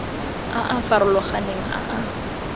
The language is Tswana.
a a farologaneng a a